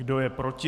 Kdo je proti?